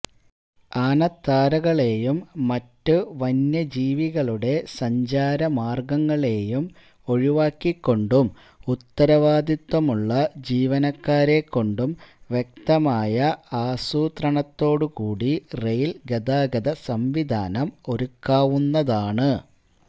ആനത്താരകളെയും മറ്റ് വന്യജീവികളുടെ സഞ്ചാര മാര്ഗങ്ങളെയും ഒഴിവാക്കിക്കൊണ്ടും ഉത്തരവാദിത്വമുള്ള ജീവനക്കാരെക്കൊണ്ടും വ്യക്തമായ ആസൂത്രണത്തോടുകൂടി റെയില് ഗതാഗത സംവിധാനം ഒരുക്കാവുന്നതാണ്